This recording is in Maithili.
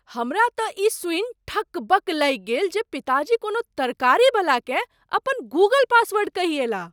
हमरा तँ ई सूनि ठकबक लागि गेल जे पिताजी कोनो तरकारीवलाकेँ अपन गूगल पासवॉर्ड कहि अयलाह।